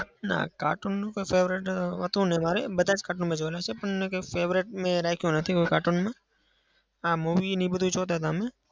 ના. cartoon નું તો favourite હતું નહિ મારે. બધા જ cartoon મેં જોયેલા છે પણ એકેય favourite મેં રાખ્યું નથી. cartoon માં હા movie ને એ બધું જોતા હતા અમે.